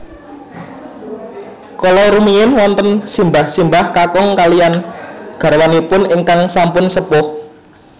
Kala rumiyin wonten simbah simbah kakung kalihan garwanipun ingkang sampun sepuh